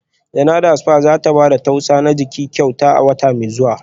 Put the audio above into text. Janada spa za ta ba da tausa na jiki kyauta a wata mai zuwa